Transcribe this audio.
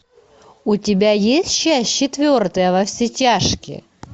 у тебя есть часть четвертая во все тяжкие